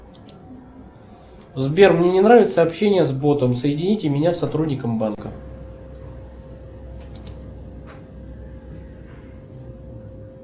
сбер мне не нравится общение с ботом соедините меня с сотрудником банка